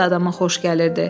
Hava da adama xoş gəlirdi.